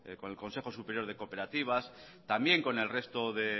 con el consejo superior de cooperativas también con el resto de